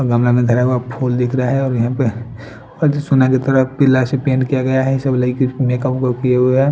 गमला में धरा हुआ फुल दिख रहा है यहाँ पर और जिस सुना की तरफ पिला से पेंट किया गया है ये सब लईकी मेकअप ऊकप किए हुए ह--